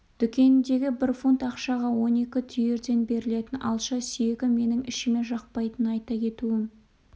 дүкеніндегі бір фунт ақшаға он екі түйірден берілетін алша сүйегі менің ішіме жақпайтынын айта кетуім